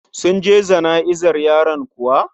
Sun je jana'izar yaron kuwa?